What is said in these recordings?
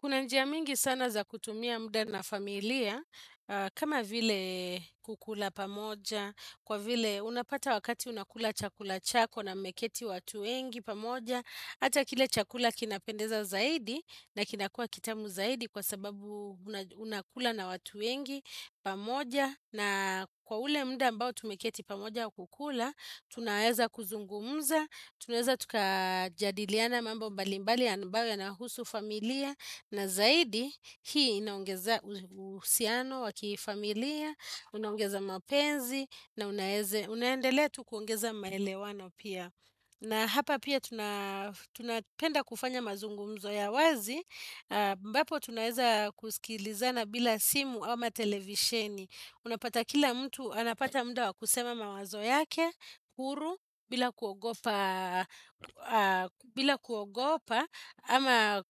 Kuna njia mingi sana za kutumia muda na familia, kama vile kukula pamoja, kwa vile unapata wakati unakula chakula chako na mmeketi watu wengi pamoja. Hata kile chakula kinapendeza zaidi na kinakuwa kitamu zaidi kwa sababu unakula na watu wengi pamoja. Na kwa ule mda ambao tumeketi pamoja kukula, tunaweza kuzungumza, tunaweza tukajadiliana mambo mbali mbali ambayo yanahusu familia na zaidi, hii inaongeza uhusiano wa kifamilia, unaungeza mapenzi, na unaendelea tu kuongeza maelewano pia na hapa pia tunapenda kufanya mazungumzo ya wazi, ambapo tunaweza kusikilizana bila simu ama televisheni Unapata kila mtu, anapata mda wa kusema mawazo yake, huru, bila kuogopa, ama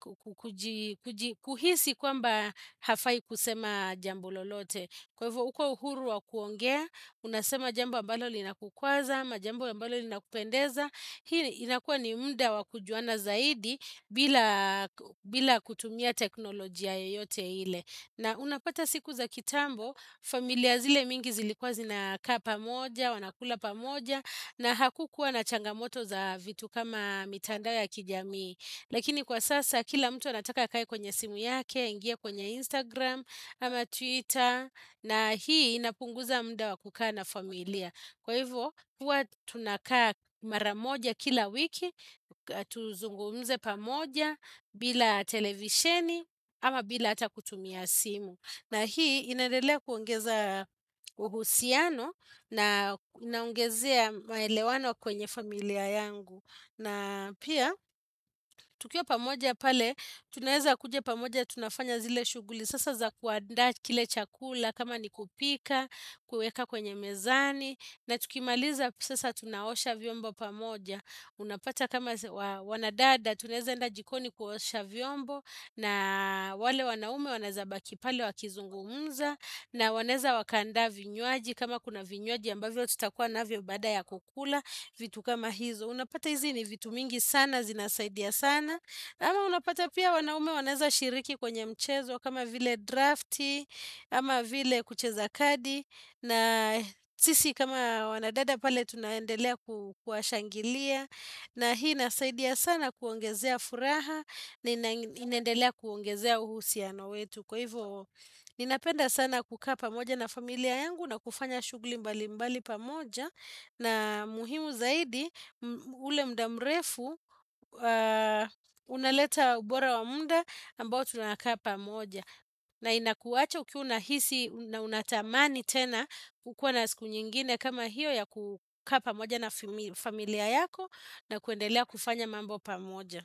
kuhisi kwamba hafai kusema jambo lolote. Kwa hivyo, uko uhuru wa kuongea, unasema jambo ambalo linakukwaza, ama jambo ambalo linakupendeza. Hii inakuwa ni mda wa kujuana zaidi bila kutumia teknolojia yoyote ile. Na unapata siku za kitambo, familia zile mingi zilikuwa zinakaa pamoja, wanakula pamoja, na hakukuwa na changamoto za vitu kama mitandao ya kijamii. Lakini kwa sasa, kila mtu anataka akae kwenye simu yake, ingia kwenye Instagram, ama Twitter, na hii inapunguza mda wa kukaa na familia. Kwa hivyo, huwa tunakaa maramoja kila wiki, tuzungumze pamoja, bila televisheni, ama bila hata kutumia simu. Na hii, inaendelea kuongeza uhusiano na kunaongezea maelewano kwenye familia yangu. Na pia, tukiwa pamoja pale, tunaweza kuja pamoja tunafanya zile shughuli. Sasa za kuandaa kile chakula kama ni kupika, kuweka kwenye mezani na tukimaliza sasa tunaosha vyombo pamoja Unapata kama wana dada tunaeza enda jikoni kuosha vyombo na wale wanaume wanaeza baki pale wakizungumza na wanaeza Waka andaa vinywaji kama kuna vinywaji ambavyo tutakuwa navyo baada ya kukula vitu kama hizo Unapata hizi ni vitu mingi sana zinasaidia sana ama unapata pia wanaume wanaeza shiriki kwenye mchezo kama vile drafti, ama vile kucheza kadi na sisi kama wanadada pale tunaendelea kuwashangilia na hii inasaidia sana kuongezea furaha na inaendelea kuongezea uhusiano wetu Kwa hivyo ninapenda sana kukaa pamoja na familia yangu na kufanya shughuli mbali mbali pamoja na muhimu zaidi ule mda mrefu unaleta ubora wa muda ambao tu nakaa pamoja. Na inakuacha ukiwa unahisi na unatamani tena kukuwa na siku nyingine kama hiyo ya kukaa pamoja na familia yako na kuendelea kufanya mambo pamoja.